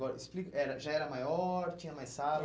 Agora explica era, já era maior, tinha mais